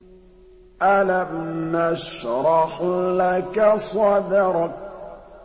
أَلَمْ نَشْرَحْ لَكَ صَدْرَكَ